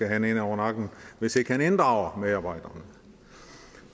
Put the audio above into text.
have en over nakken hvis ikke han inddrager medarbejderne